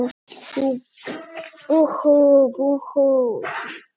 Aflakló vel fiskar sú.